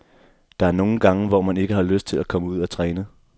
Der er nogle gange, hvor man ikke har lyst til at komme ud at træne.